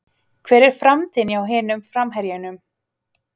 Hver er framtíðin hjá hinum framherjunum?